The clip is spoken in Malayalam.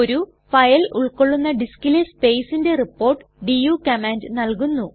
ഒരു ഫയൽ ഉൾകൊള്ളുന്ന ഡിസ്കിലെ സ്പേസ്ന്ന്റെ റിപ്പോർട്ട് ഡു കമാൻഡ് നല്കുന്നു